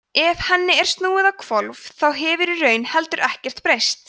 ef henni er snúið á hvolf þá hefur í raun heldur ekkert breyst